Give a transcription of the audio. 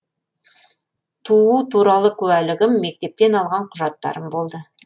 туу туралы куәлігім мектептен алған құжаттарым болды